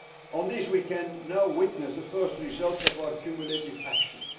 On this, we can now witness the first results of our cumulative actions.